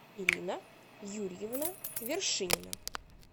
ирина юрьевна вершинина